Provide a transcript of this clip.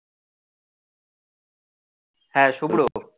হ্যাঁ শুভ্র,